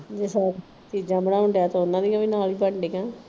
ਜੇ ਹੋਰ ਚੀਜਾਂ ਬਣਾਉਂਣ ਡਿਆ ਤੇ ਉਨ੍ਹਾਂ ਦੀ ਵੀ ਨਾਲ ਹੀ ਬਣਡਈ ਆ।